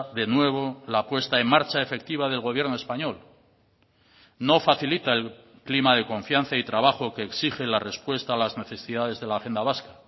de nuevo la puesta en marcha efectiva del gobierno español no facilita el clima de confianza y trabajo que exige la respuesta a las necesidades de la agenda vasca